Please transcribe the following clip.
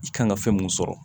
I kan ka fɛn mun sɔrɔ